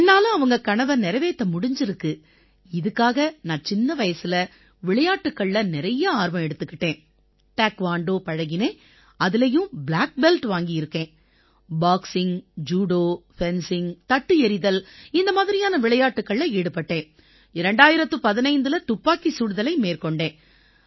என்னால அவங்க கனவை நிறைவேத்த முடிஞ்சிருக்கு இதுக்காக நான் சின்ன வயசுல விளையாட்டுக்கள்ல நிறைய ஆர்வம் எடுத்துக்கிட்டேன் டாய்க்வாண்டோ பழகினேன் அதிலயும் ப்ளாக் பெல்ட் வாங்கியிருக்கேன் பாக்சிங் ஜூடோ ஃபென்சிங் தட்டு எறிதல் மாதிரியான விளையாட்டுக்கள்ல ஈடுபட்டேன் 2015இல துப்பாக்கிச் சுடுதலை மேற்கொண்டேன்